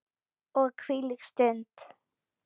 Og hvílík stund!